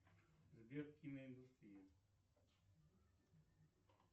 сбер киноиндустрия